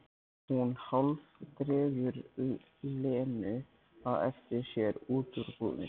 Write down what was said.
Hún hálfdregur Lenu á eftir sér út úr búðinni.